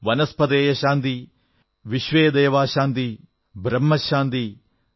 വനസ്പതയഃ ശാന്തിഃ വിശ്വേദേവാഃ ശാന്തിഃ ബ്രഹ്മ ശാന്തിഃ